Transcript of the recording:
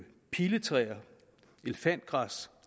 piletræer og elefantgræs